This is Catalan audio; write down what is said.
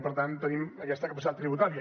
per tant tenim aquesta capacitat tributària